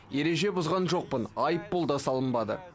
ереже бұзған жоқпын айыппұл да салынбады